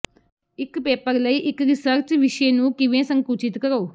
ਇੱਕ ਪੇਪਰ ਲਈ ਇੱਕ ਰਿਸਰਚ ਵਿਸ਼ੇ ਨੂੰ ਕਿਵੇਂ ਸੰਕੁਚਿਤ ਕਰੋ